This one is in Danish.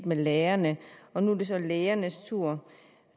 med lærerne nu er det så lægernes tur